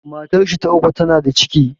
Matar shi ta uku ta na da ciki